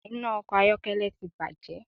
Iná ọkọ̀ ayọ́kẹ́lẹ́ ti bàjé